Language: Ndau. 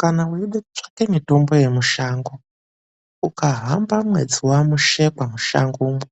Kana weide kutsvaka mitombo yemushango ukahamba mwedzi waMushekwa, mushangomo